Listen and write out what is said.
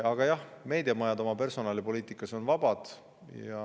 Aga jah, meediamajad on oma personalipoliitikas vabad.